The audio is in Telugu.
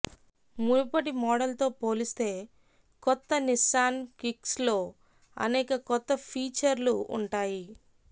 మునుపటి మోడల్తో పోలిస్తే కొత్త నిస్సాన్ కిక్స్లో అనేక కొత్త ఫీచర్లు ఉంటాయి